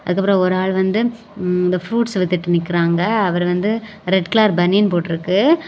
அதுக்கப்புறம் ஒரு ஆள் வந்து இந்த ப்ரூட்ஸ் வித்துட்டு நிக்கிறாங்க. அவர் வந்து ரெட் கலர் பனியன் போட்ருக்கு.